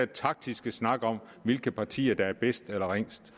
taktiske snak om hvilke partier der er bedst eller ringest